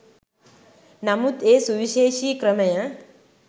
නමුත් ඒ සුවිශේෂී ක්‍රමය